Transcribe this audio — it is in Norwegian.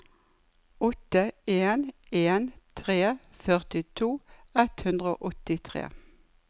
åtte en en tre førtito ett hundre og åttitre